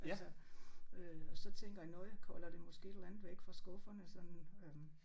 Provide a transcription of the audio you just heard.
Altså øh og så tænker jeg nok holder det måske et eller andet væk fra skufferne sådan øh